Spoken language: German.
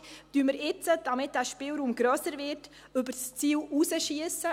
Schiessen wir jetzt – damit der Spielraum grösser wird – über das Ziel hinaus?